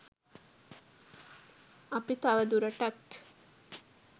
අපි තවදුරටත්